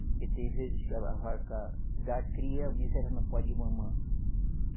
Porque tem vezes que a vaca dá cria, o bezerro não pode mamã.